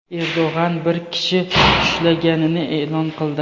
Erdo‘g‘an bir kishi ushlanganini e’lon qildi.